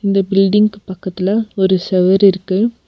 இந்த பில்டிங்கு பக்கத்துல ஒரு செவுரு இருக்கு.